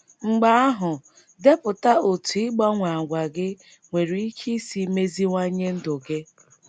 Mgbe ahụ, “ depụta otú ịgbanwe àgwà gị nwere ike isi meziwanye ndụ gị. ”